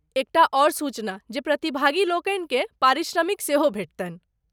एकटा आओर सूचना जे प्रतिभागी लोकनिकेँ पारिश्रमिक सेहो भेटतनि।